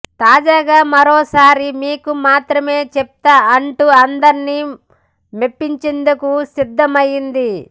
తాజాగా మరోసారి మీకు మాత్రమే చెప్తా అంటూ అందర్నీ మెప్పించేందుకు సిద్దమైంది